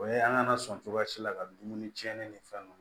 O ye an ŋana sɔn cogoya si la ka dumuni tiɲɛni ni fɛn nunnu